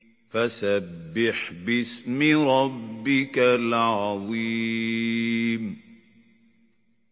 فَسَبِّحْ بِاسْمِ رَبِّكَ الْعَظِيمِ